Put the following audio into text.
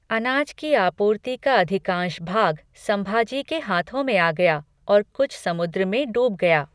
अनाज की आपूर्ति का अधिकाँश भाग संभाजी के हाथों में आ गया और कुछ समुद्र में डूब गया।